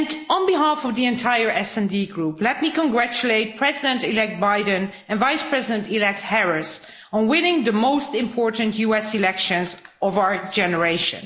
On behalf of the entire SD Group, let me congratulate President elect Biden and Vice President elect Harris on winning the most important US elections of our generation.